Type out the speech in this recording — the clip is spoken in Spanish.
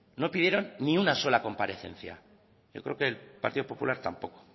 no pidieron ni una sola comparecencia yo creo que el partido popular tampoco